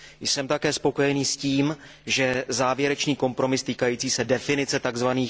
Jsem také spokojený s tím, že závěrečný kompromis týkající se definice tzv.